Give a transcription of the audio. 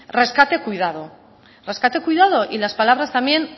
rescate cuidado rescate cuidado y las palabras también